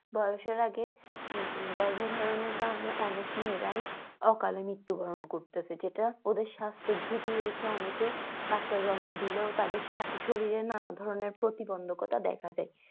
বয়সের আগে গর্ভধারণের কারণে অনেক মেয়েরাই অকালে মৃত্যুবরণ করতেসে। যেটা ওদের সাস্থ্য ঝুঁকি রেখে অনেকে বাচ্চা জন্ম দিলেও তাদের শরীরে নানা ধরনের প্রতিবন্ধকতা দেখা যায়।